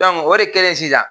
o de kɛlen sisan